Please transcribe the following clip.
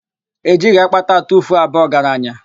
E jighi akpata atufuo aba ọgaranya.